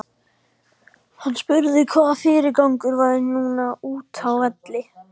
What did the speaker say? Hann spurði hvaða fyrirgangur væri núna útá velli.